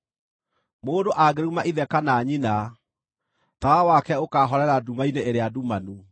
Mũndũ angĩruma ithe kana nyina, tawa wake ũkaahorera nduma-inĩ ĩrĩa ndumanu.